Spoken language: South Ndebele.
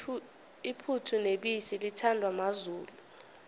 iphuthu nebisi lithandwa mazulu